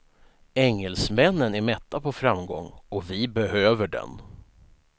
Engelsmännen är mätta på framgång och vi behöver den.